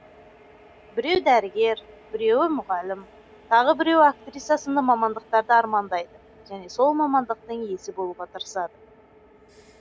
біреу дәрігер біреуі мұғалім тағы біреуі актриса сынды мамандықтарды армандайды және сол мамандықтың иесі болуға тырысады